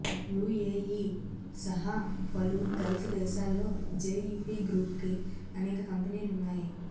UAE సహా పలు Gulf దేశాల్లో జెఇపి గ్రూప్కి అనేక కంపెనీలున్నాయి